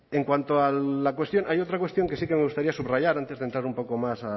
en cuanto a la cuestión hay otra cuestión que sí que me gustaría subrayar antes de entrar un poco más